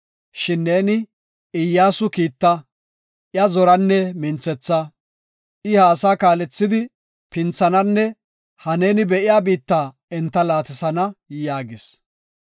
Shin neeni Iyyasu kiitta; iya zoranne minthetha. I ha asaa kaalethidi pinthananne ha neeni be7iya biitta enta laatisana” yaagis.